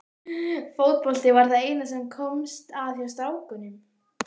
Fótbolti var það eina sem komst að hjá strákunum.